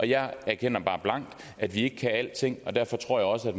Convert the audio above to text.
jeg erkender bare blankt at vi ikke kan alting og derfor tror jeg også